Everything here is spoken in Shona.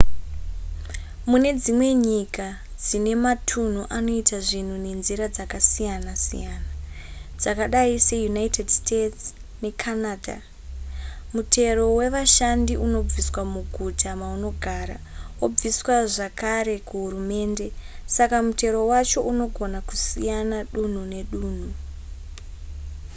mune dzimwe nyika dzine matunhu anoita zvinhu nenzira dzakasiyana-siyana dzakadai seunited states necanada mutero wevashandi unobviswa muguta maunogara wobviswa zvakare kuhurumende saka mutero wacho unogona kusiyana dunhu nedunhu